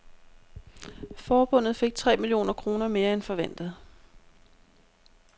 Forbundet fik tre millioner kroner mere end forventet.